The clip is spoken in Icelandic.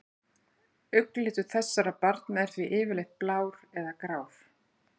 Augnlitur þessara barna er því yfirleitt blár eða grár.